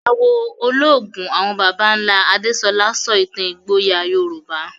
Àwọ̀ ológun àwọn baba ńlá Adesola sọ ìtàn ìgboyà Yorùbá.